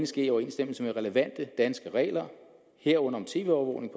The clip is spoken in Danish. ske i overensstemmelse med relevante danske regler herunder om tv overvågning